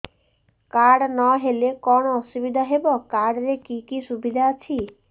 card ନହେଲେ କଣ ଅସୁବିଧା ହେବ କାର୍ଡ ରେ କି କି ସୁବିଧା ଅଛି